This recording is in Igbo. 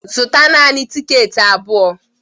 Zụta naanị tikeeti abụọ!